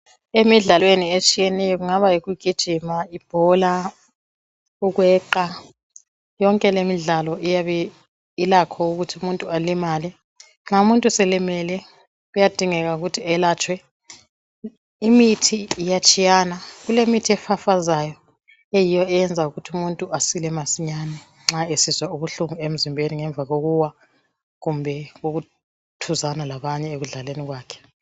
Emidlalweni etshiyeneyo, kungaba yikugijima, ibhola, ukweqa. Yonke lemidlalo ilakho ukuthi. umuntu alimale. Nxa umuntu eselimele, kuyadingeka ukuthi elatshwe. Imithi iyatshiyana. Kulemithi ofafazayo, eyiyo eyenza ukuthi umuntu asile masinyane, nxa esizwa ubuhlungu, ngemva kokuwa kumbe ukuthuzana labanye ekudlaleni kwakhe.